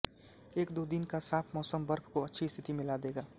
एक दो दिन का साफ़ मौसम बर्फ को अच्छी स्थिति में ला देगा